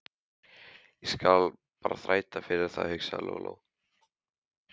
Ég skal bara þræta fyrir það, hugsaði Lóa-Lóa.